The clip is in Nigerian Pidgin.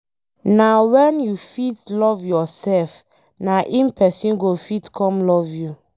Na wen you fit love yourself na em pesin go fit come love you